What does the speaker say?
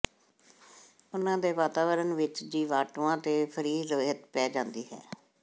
ਉਨ੍ਹਾਂ ਦੇ ਵਾਤਾਵਰਣ ਵਿੱਚ ਜੀਵਾਣੂਆਂ ਤੇ ਫਰੀ ਰਹਿਤ ਪੈ ਜਾਂਦੀ ਹੈ